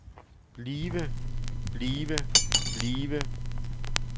blive blive blive